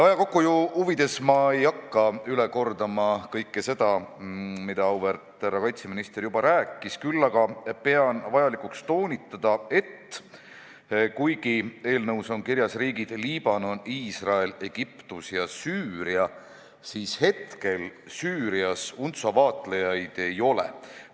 Aja kokkuhoiu huvides ma ei hakka üle kordama kõike seda, mida auväärt härra kaitseminister juba rääkis, küll aga pean vajalikuks toonitada, et kuigi eelnõus on kirjas riigid Liibanon, Iisrael, Egiptus ja Süüria, siis hetkel Süürias UNTSO vaatlejaid ei ole.